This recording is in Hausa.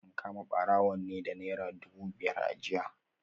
An kama barawon ne da Naira dubu biyar a jiya